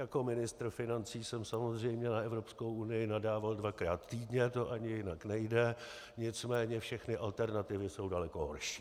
Jako ministr financí jsem samozřejmě na Evropskou unii nadával dvakrát týdně, to ani jinak nejde, nicméně všechny alternativy jsou daleko horší.